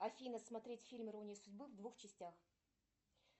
афина смотреть фильм ирония судьбы в двух частях